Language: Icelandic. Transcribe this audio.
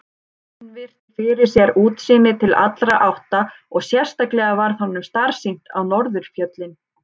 Sveinn virti fyrir sér útsýnið til allra átta og sérstaklega varð honum starsýnt á norðurfjöllin.